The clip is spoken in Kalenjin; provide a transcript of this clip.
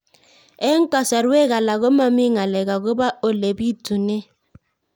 Eng' kasarwek alak ko mami ng'alek akopo ole pitunee